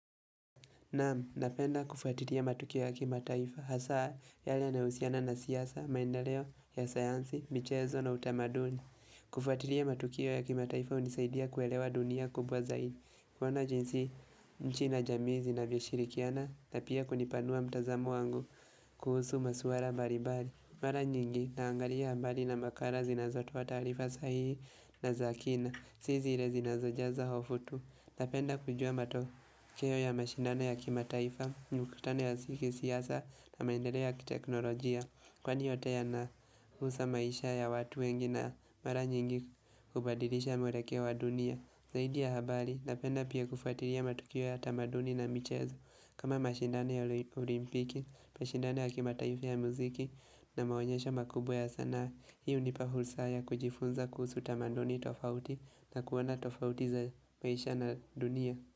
Naam, napenda kufuatiria matukio ya kimataifa, hasa yale yanayohusiana na siasa, maendeleo, ya sayansi, michezo na utamaduni. Kufuatilia matukio ya kimataifa hunisaidia kuelewa dunia kubwa zaidi. Kuona jinsi, nchi na jamii zinavyoshirikiana, na pia kunipanua mtazamo wangu kuhusu maswara mbarimbari. Mara nyingi, naanglria mbali na makala zinazotoa taarifa sahihi na za kina, si zi zile zinazojaza hofu tu. Napenda kujua matokeo ya mashindano ya kimataifa, mikutano ya si kisiasa na maendeleo ya kiteknolojia Kwani yote yanahusa maisha ya watu wengi na mara nyingi kubadirisha mwelekeo wa dunia Zaidi ya habari, napenda pia kufuatiria matukio ya tamaduni na michezo kama mashindano ya olimpiki, mashindan ya kimataifa ya mziki na maonyesha makubwa ya sanaa na hii hunipa fursa ya kujifunza kuhusu tamaduni tofauti na kuona tofauti za maisha na dunia.